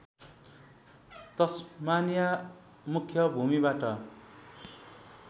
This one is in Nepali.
तस्मानिया मुख्य भूमिबाट